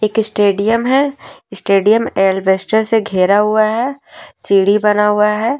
एक स्टेडियम है stadium alabaster से घेरा हुआ है सीढ़ी बना हुआ है।